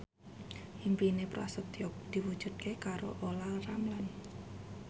impine Prasetyo diwujudke karo Olla Ramlan